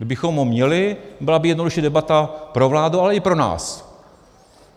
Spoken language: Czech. Kdybychom ho měli, byla by jednodušší debata pro vládu, ale i pro nás.